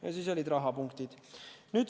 Ja siis olid rahapunktid.